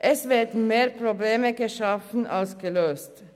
Es werden mehr Probleme geschaffen als gelöst.